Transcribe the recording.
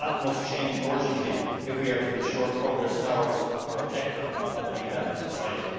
That must change urgently if we are to ensure progress towards our objective of a better society.